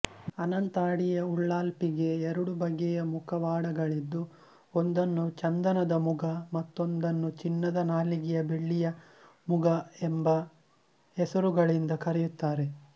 ಅನಂತಾಡಿಯ ಉಳ್ಳಾಲ್ಪಿಗೆ ಎರಡು ಬಗೆಯ ಮುಖವಾಡಗಳಿದ್ದು ಒಂದನ್ನು ಚಂದನದ ಮುಗಮತ್ತೊಂದನ್ನು ಚಿನ್ನದ ನಾಲಗೆಯ ಬೆಳ್ಳಿಯ ಮುಗ ಎಂಬ ಹೆಸರುಗಳಿಂದ ಕರೆಯುತ್ತಾರೆ